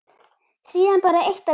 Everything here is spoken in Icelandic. Síðan bara eitt að lokum.